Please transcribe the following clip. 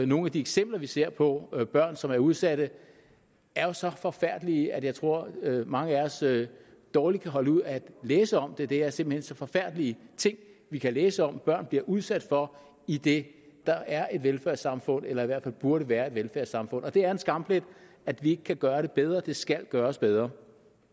nogle af de eksempler vi ser på børn som er udsatte er jo så forfærdelige at jeg tror mange af os dårligt kan holde ud at læse om dem det er simpelt hen så forfærdelige ting vi kan læse om at børn bliver udsat for i det der er et velfærdssamfund eller i hvert fald burde være et velfærdssamfund det er en skamplet at vi ikke kan gøre det bedre det skal gøres bedre